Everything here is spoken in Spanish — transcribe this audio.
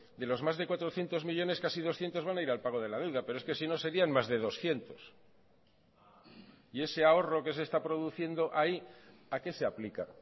de los más de cuatrocientos millónes casi doscientos van a ir al pago de la deuda pero es que si no serían más de doscientos y ese ahorro que se está produciendo ahí a qué se aplica